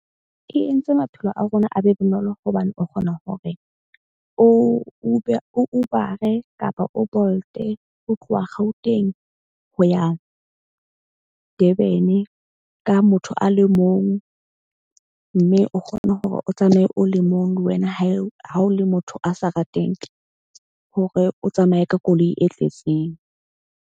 E entse maphelo a rona a be bonolo hobane o kgona hore o Uber o Uber-e kapa o Bolt-e ho tloha Gauteng ho ya Durban-e, ka motho a le mong. Mme o kgone hore o tsamaye o le mong. Le wena ha e ha o le motho a sa rateng hore o tsamaye ka koloi e tletseng.